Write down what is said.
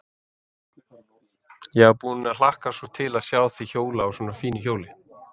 Ég var búin að hlakka svo til að sjá þig hjóla á svona fínu hjóli.